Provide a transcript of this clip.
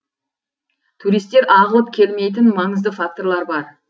туристер ағылып келмейтін маңызды факторлар бар